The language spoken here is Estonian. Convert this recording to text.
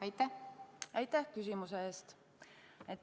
Aitäh küsimuse eest!